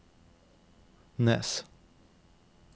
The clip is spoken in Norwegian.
Nes